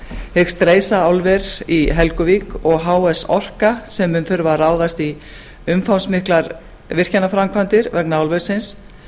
hyggst reisa álver í helguvík og h s orka sem mun þurfa að ráðast í umfangsmiklar virkjanaframkvæmdir vegna álversins